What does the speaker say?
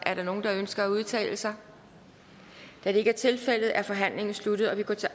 er der nogen der ønsker at udtale sig da det ikke er tilfældet er forhandlingen sluttet og vi går til